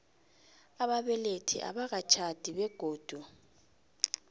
ababelethi abakatjhadi begodu